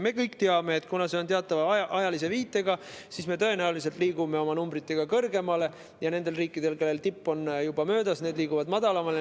Me kõik teame, et kuna see toimub teatava ajalise viitega, siis me tõenäoliselt liigume oma numbritega kõrgemale ja need riigid, kellel tipp on juba möödas, liiguvad madalamale.